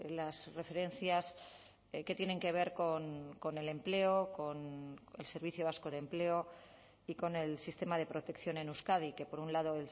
las referencias que tienen que ver con el empleo con el servicio vasco de empleo y con el sistema de protección en euskadi que por un lado